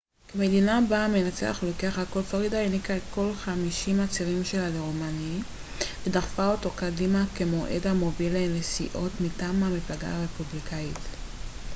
כמדינה בה המנצח לוקח הכל פלורידה העניקה את כל חמישים הצירים שלה לרומני ודחפה אותו קדימה כמועמד המוביל לנשיאות מטעם המפלגה הרפובליקאית